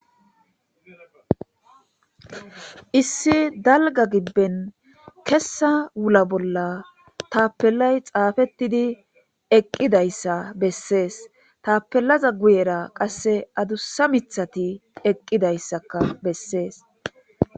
Issi dalga gibben keessa wulla boola tapelay xafetdi eqidayissa besses tapelaza guyerra adussa mithati eqidayissa besses